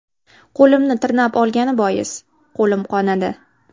Qo‘limni tirnab olgani bois, qo‘lim qonadi.